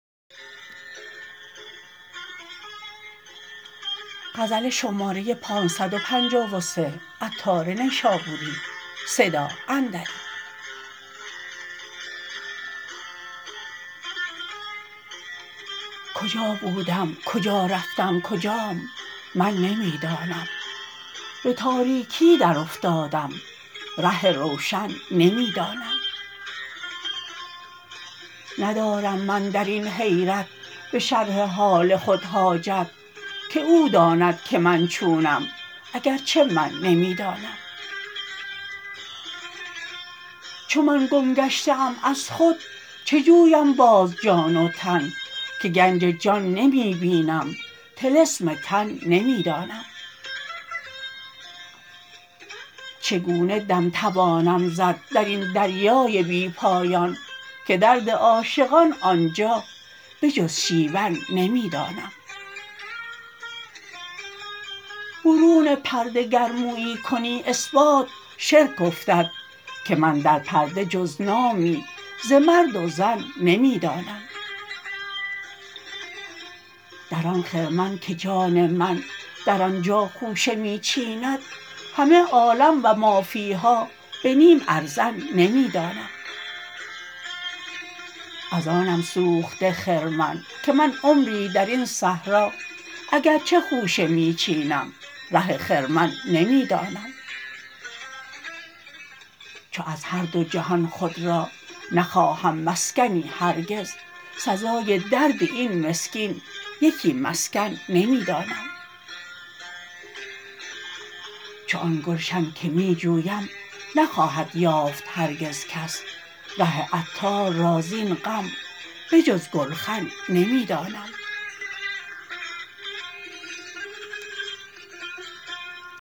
کجا بودم کجا رفتم کجاام من نمی دانم به تاریکی در افتادم ره روشن نمی دانم ندارم من درین حیرت به شرح حال خود حاجت که او داند که من چونم اگرچه من نمی دانم چو من گم گشته ام از خود چه جویم باز جان و تن که گنج جان نمی بینم طلسم تن نمی دانم چگونه دم توانم زد درین دریای بی پایان که درد عاشقان آنجا به جز شیون نمی دانم برون پرده گر مویی کنی اثبات شرک افتد که من در پرده جز نامی ز مرد و زن نمی دانم در آن خرمن که جان من در آنجا خوشه می چیند همه عالم و مافیها به نیم ارزن نمی دانم از آنم سوخته خرمن که من عمری درین صحرا اگرچه خوشه می چینم ره خرمن نمی دانم چو از هر دو جهان خود را نخواهم مسکنی هرگز سزای درد این مسکین یکی مسکن نمی دانم چو آن گلشن که می جویم نخواهد یافت هرگز کس ره عطار را زین غم به جز گلخن نمی دانم